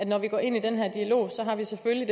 når vi går ind i den her dialog så selvfølgelig